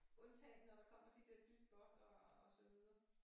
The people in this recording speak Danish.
Undtagen når der kommer de der dyt båt og og så videre